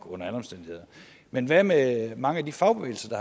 under alle omstændigheder men hvad med mange af de fagbevægelser